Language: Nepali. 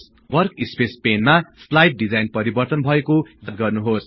वर्सस्पेस पेनमा स्लाईड डिजाइन परिवर्तन भएको याद गर्नुहोस्